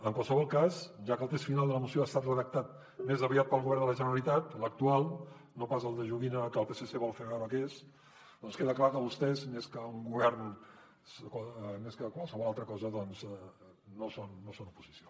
en qualsevol cas ja que el text final de la moció ha estat redactat més aviat pel govern de la generalitat l’actual no pas el de joguina que el psc vol fer veure que és queda clar que vostès més que un govern més que qualsevol altra cosa doncs no són oposició